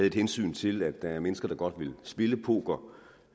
et hensyn til at der er mennesker der godt vil spille poker